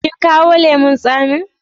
Kin kawo lemun tsamin?